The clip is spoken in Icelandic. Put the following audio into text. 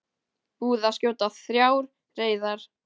Búið að skjóta þrjár reyðar